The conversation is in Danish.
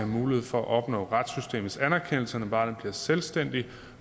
mulighed for at opnå retssystemets anerkendelse når barnet bliver selvstændigt